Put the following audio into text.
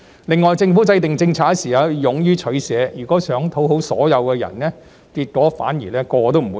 另外，政府制訂政策時要勇於取捨，如果想討好所有人，結果反而會令人人都不滿意。